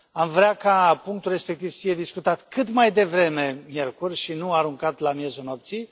Am vrea ca punctul respectiv să fie discutat cât mai devreme, miercuri, și nu aruncat la miezul nopții.